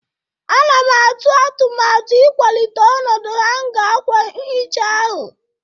Ana m atụ atụmatụ ịkwalite ọnọdụ hanga akwa nhicha ahụ.